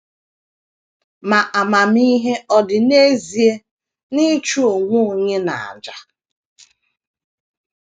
Ma, amamihe ọ̀ dị n’ezie n’ịchụ onwe onye n’àjà?